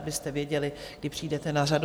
Abyste věděli, kdy přijdete na řadu.